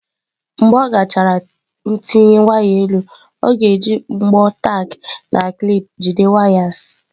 Mgbe ọ gachara ntinye waya elu, ọ ga-eji mbọ tack na clip jide wires.